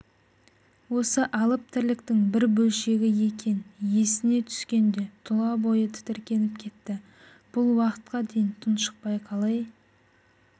осы алып тірліктің бір бөлшегі екен есіне түскенде тұлабойы тітіркеніп кетті бұл уақытқа дейін тұншықпай қалай